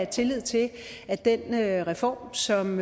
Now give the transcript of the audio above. tillid til at den reform som